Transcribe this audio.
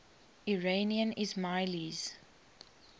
iranian ismailis